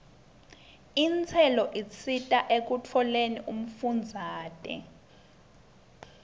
intselo isita ekutfoleni umfundzate